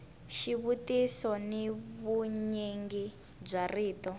xivutiso ni vunyingi bya rito